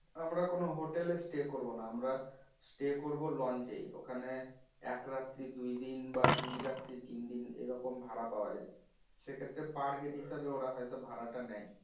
আমরা কোনো hotel এ stay করব না আমরা stay করবো launch এই ওখানে একরাত্রি দুইদিন বা দুইরাত্রি তিনদিন এরকম ভাড়া পাওয়া যাই সেক্ষেত্রে per head হিসাবে ওরা হয়তো ভাড়া টা নেয়